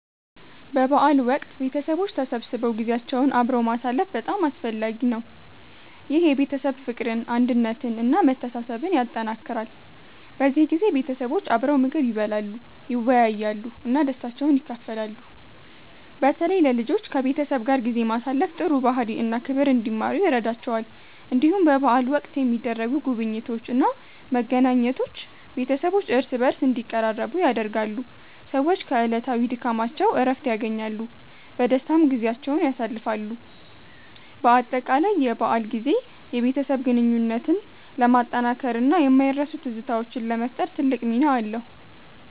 በበዓል ወቅት ቤተሰቦች ተሰብስበው ጊዜያቸውን አብረው ማሳለፍ በጣም አስፈላጊ ነው። ይህ የቤተሰብ ፍቅርን፣ አንድነትን እና መተሳሰብን ያጠናክራል። በዚህ ጊዜ ቤተሰቦች አብረው ምግብ ይበላሉ፣ ይወያያሉ እና ደስታቸውን ይካፈላሉ። በተለይ ለልጆች ከቤተሰብ ጋር ጊዜ ማሳለፍ ጥሩ ባህሪ እና ክብር እንዲማሩ ይረዳቸዋል። እንዲሁም በበዓል ወቅት የሚደረጉ ጉብኝቶች እና መገናኘቶች ቤተሰቦች እርስ በርስ እንዲቀራረቡ ያደርጋሉ። ሰዎች ከዕለታዊ ድካማቸው እረፍት ያገኛሉ፣ በደስታም ጊዜያቸውን ያሳልፋሉ። በአጠቃላይ የበዓል ጊዜ የቤተሰብ ግንኙነትን ለማጠናከር እና የማይረሱ ትዝታዎችን ለመፍጠር ትልቅ ሚና አለው።